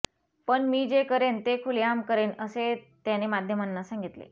पण मी जे करेन ते खुलेआम करेन असे त्याने माध्यमांना सांगितले